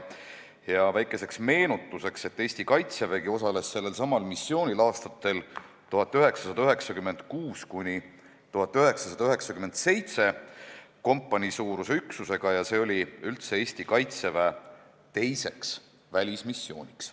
Väikeseks meenutuseks ütlen, et Eesti Kaitsevägi osales sellelsamal missioonil aastatel 1996–1997 kompaniisuuruse üksusega ja see oli üldse Eesti Kaitseväe teine välismissioon.